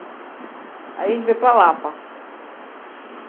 Aí a gente veio para a Lapa.